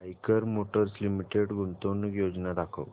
Eicher motors limited गुंतवणूक योजना दाखव